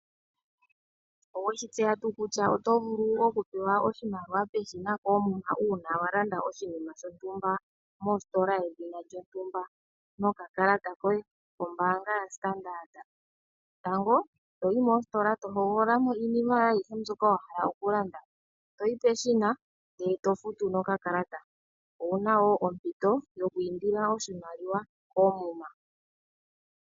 Oweshi tseya tuu kutya otovulu okupewa oshimaliwa peshina koomuma uuna walanda oshinima shontumba mositola yedhina lyontumba no kakalata koye kombaanga ya Standard. Tango toyi mositola to hogolola iinima mbyoka wahala okulanda, toyi peahina ndele tofutu no kakalata owuna woo ompito yoku indila oshimaliwa koomuma.